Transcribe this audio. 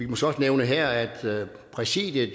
måske også nævne her at præsidiet